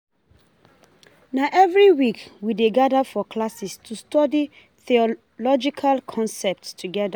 Na every week, we dey gather for classes to study theological concepts together.